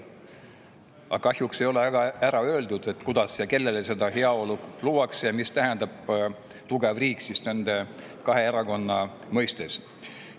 Aga kahjuks ei ole öeldud, kuidas ja kellele seda heaolu luuakse ning mis tähendab tugev riik nende kahe erakonna mõistes.